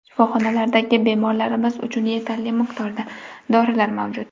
Shifoxonalardagi bemorlarimiz uchun yetarli miqdorda dorilar mavjud.